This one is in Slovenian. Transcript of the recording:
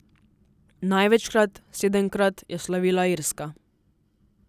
Največkrat, sedemkrat, je slavila Irska.